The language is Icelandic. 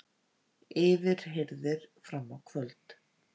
Yfirheyrðir fram á kvöld